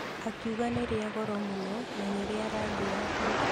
Akiuga nĩ rĩa goro mũno na nĩ rĩa rangi wa pink.